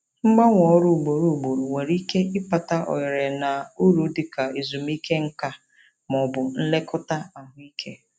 Mgbanwe ọrụ ugboro ugboro nwere ike ịkpata oghere na uru dị ka ezumike nka ma ọ bụ nlekọta ahụike.